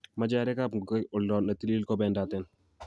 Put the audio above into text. machei arekab ngogaik oldo netilil kobendaten